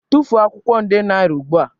Tufuo akwụkwọ nde naira ugbu a.